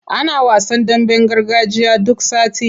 Ana wasan damben gargajiya duk sati.